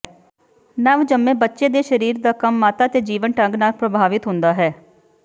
ਨਵਜੰਮੇ ਬੱਚੇ ਦੇ ਸਰੀਰ ਦਾ ਕੰਮ ਮਾਤਾ ਤੇ ਜੀਵਨ ਢੰਗ ਨਾਲ ਪ੍ਰਭਾਵਿਤ ਹੁੰਦਾ ਹੈ